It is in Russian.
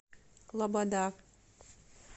лобода